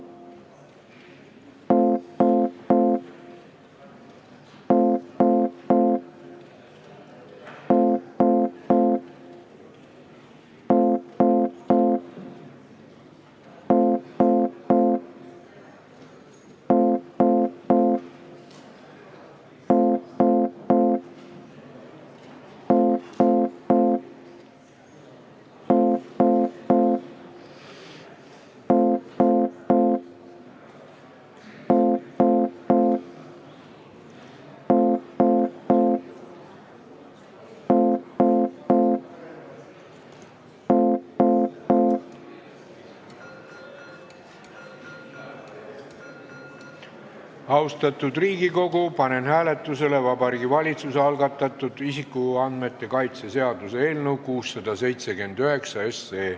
Austatud Riigikogu, panen hääletusele Vabariigi Valitsuse algatatud isikuandmete kaitse seaduse eelnõu 679.